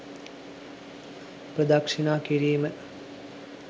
ප්‍රදක්ෂිණා කිරීම